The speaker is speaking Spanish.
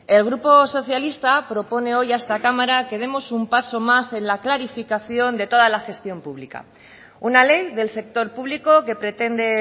el grupo socialista propone hoy a esta cámara que demos un paso más en la clarificación de toda la gestión pública una ley del sector público que pretende